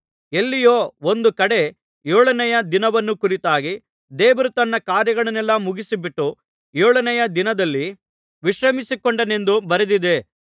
ಎಲ್ಲಿಯೋ ಒಂದು ಕಡೆ ಏಳನೆಯ ದಿನವನ್ನು ಕುರಿತಾಗಿ ದೇವರು ತನ್ನ ಕಾರ್ಯಗಳನ್ನೆಲ್ಲಾ ಮುಗಿಸಿಬಿಟ್ಟು ಏಳನೆಯ ದಿನದಲ್ಲಿ ವಿಶ್ರಮಿಸಿಕೊಂಡನೆಂದು ಬರೆದದೆ